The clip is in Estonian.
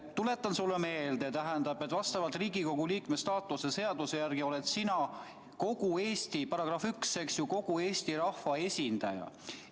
Tuletan sulle meelde, et vastavalt Riigikogu liikme staatuse seaduse §-le 1 oled sina kogu Eesti rahva esindaja.